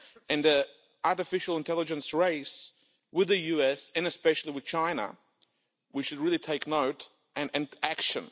In the artificial intelligence race with the US, and especially with China, we should really take note and action.